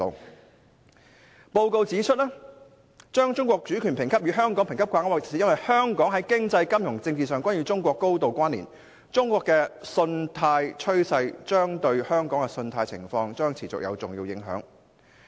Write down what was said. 穆迪的報告指出，把中國主權評級與香港評級掛鈎，是因為香港在經濟、金融及政治上均與中國高度關連，中國的信貸趨勢對香港的信貸情況將持續有重要影響。